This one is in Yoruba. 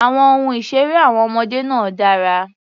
Àwọn ohun ìṣeré àwọn ọmọdé náà dára.